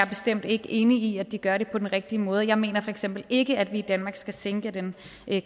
bestemt ikke enig i at de gør det på den rigtige måde jeg mener for eksempel ikke at vi i danmark skal sænke den